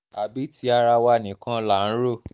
àbí tí ara wa nìkan là ń rò